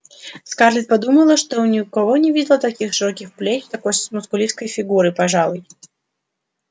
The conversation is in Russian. скарлетт подумала что ни у кого не видела таких широких плеч такой мускулистой фигуры пожалуй